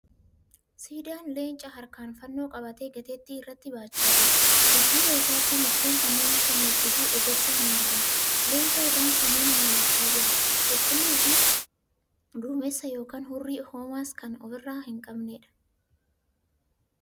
Siidaan Leencaa harkaan fannoo qabatee gateettii irratti baachaa jira. Dudduuba isaatti mukkeen kanneen akka meexxii fi ejersaa ni argamu. Leenca irraan samiin mul'achaa jiru qulqulluu fi duumessa yookiin hurrii homas kan ofirraa hin qabneedha.